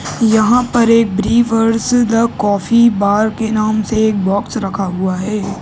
यहाँ पर एक ब्रेवेर्ज़ द कॉफ़ी बार के नाम से एक बॉक्स रखा हुआ है।